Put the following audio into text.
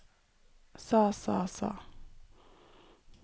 sa sa sa